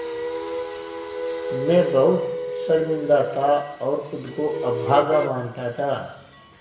मैं बहुत शर्मिंदा था और ख़ुद को अभागा मानता था